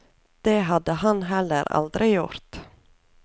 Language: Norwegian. Det hadde han heller aldri gjort.